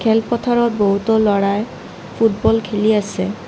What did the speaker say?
খেল পথাৰত বহুতো ল'ৰাই ফুটবল খেলি আছে।